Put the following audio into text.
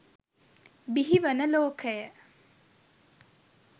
බිහිවන ලෝකය